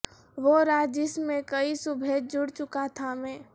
وہ رات جس میں کئی صبحیں جڑ چکا تھا میں